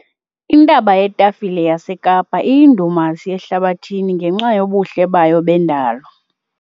Intaba yetafile yaseKapa iyindumasi ehlabathini ngenxa yobuhle bayo bendalo.